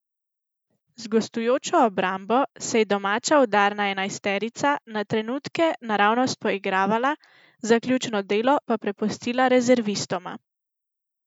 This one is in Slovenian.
Z gostujočo obrambo se je domača udarna enajsterica na trenutke naravnost poigravala, zaključno delo pa prepustila rezervistoma.